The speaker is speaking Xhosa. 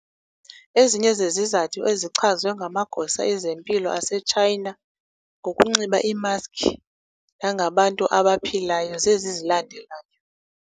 Ezinye zezizathu ezichazwe ngamagosa ezempilo aseTshayina ngokunxiba iimaski nangabantu abaphilayo zezi zilandelayo.